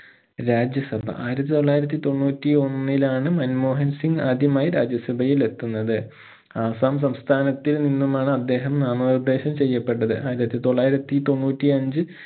രാജ്യസഭ ആയിരത്തി തൊള്ളായിരത്തി തോണ്ണൂറ്റിയൊന്നിലാണ് മൻമോഹൻ സിംഗ് ആദ്യമായി രാജ്യസഭയിൽ എത്തുന്നത് ആസ്സാം സംസ്ഥാനത്തിൽ നിന്നുമാണ് അദ്ദേഹം നാമനിർദ്ദേശം ചെയ്യപ്പെട്ടത് ആയിരത്തി തൊള്ളായിരത്തി തൊണ്ണൂറ്റിയഞ്ച്